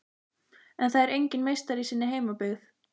En það er enginn meistari í sinni heimabyggð.